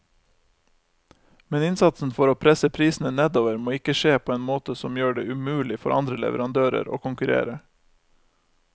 Men innsatsen for å presse prisene nedover må ikke skje på en måte som gjør det umulig for andre leverandører å konkurrere.